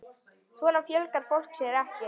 Svona fjölgar fólk sér ekki!